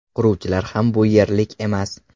Quruvchilar ham bu yerlik emas.